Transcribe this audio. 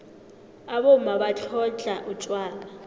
abomma batlhodlha utjwala